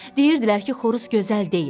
Deyirdilər ki, xoruz gözəl deyil.